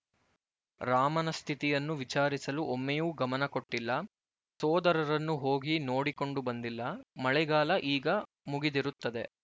ರಾಮನ ಸ್ಥಿತಿಯನ್ನು ವಿಚಾರಿಸಲು ಒಮ್ಮೆಯೂ ಗಮನ ಕೊಟ್ಟಿಲ್ಲ ಸೋದರರನ್ನು ಹೋಗಿ ನೋಡಿಕೊಂಡು ಬಂದಿಲ್ಲ ಮಳೆಗಾಲ ಈಗ ಮುಗಿದಿರುತ್ತದೆ